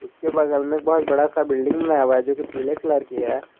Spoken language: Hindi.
इसके बगल में बहोत बड़ा सा बिल्डिंग बनाया हुआ है जो की पीले कलर की है।